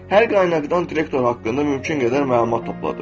Hər qaynaqdan direktor haqqında mümkün qədər məlumat topladım.